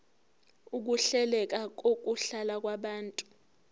ukuhleleka kokuhlala kwabantu